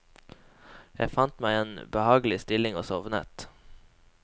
Jeg fant meg en behagelig stilling og sovnet.